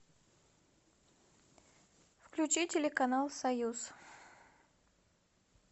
включи телеканал союз